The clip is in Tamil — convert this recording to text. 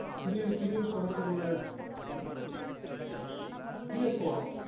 துணிவு துணிவு படத்துடைய இது எப்போ